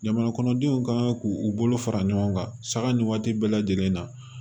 Jamana kɔnɔdenw kan k'u bolo fara ɲɔgɔn kan saga nin waati bɛɛ lajɛlen na